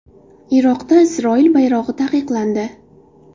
Iroqda Isroil bayrog‘i taqiqlandi.